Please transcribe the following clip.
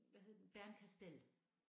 Hvad hed den Bernkastel